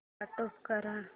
stop करा